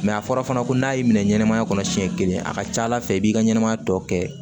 a fɔra fana ko n'a y'i minɛ ɲɛnamaya kɔnɔ siɲɛ kelen a ka ca ala fɛ i b'i ka ɲɛnama tɔ kɛ